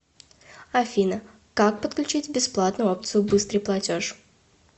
афина как подключить бесплатную опцию быстрый платеж